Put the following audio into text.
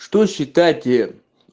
что считать те